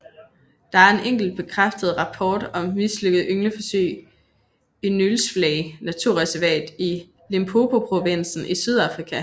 Der er en enkelt bekræftet rapport om et mislykket yngleforsøg i Nylsvley naturreservat i Limpopoprovinsen i Sydafrika